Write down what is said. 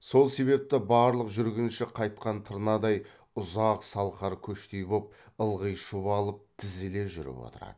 сол себепті барлық жүргінші қайтқан тырнадай ұзақ салқар көштей боп ылғи шұбалып тізіле жүріп отырады